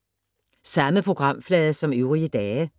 Samme programflade som øvrige dage